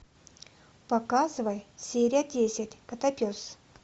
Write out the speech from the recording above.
показывай серия десять котопес